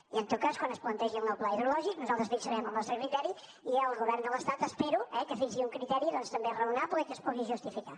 i en tot cas quan es plantegi el nou pla hidrològic nosaltres fixarem el nostre criteri i el govern de l’estat espero eh que fixi un criteri doncs també raonable i que es pugui justificar